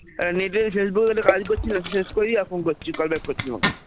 একটা Net Facebook র কাজ করছি, কাজটা শেষ করি তারপরে call back করছি.